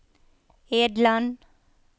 Edland